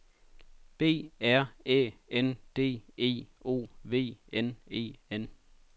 B R Æ N D E O V N E N